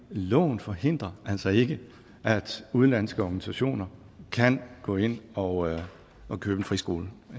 loven forhindrer altså ikke at udenlandske organisationer kan gå ind og købe en friskole